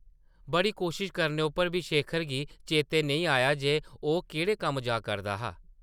बड़ी कोशश करने उप्पर बी शेखर गी चेतै नेईं आया जे ओह् केह्ड़े कम्म जा करदा हा ।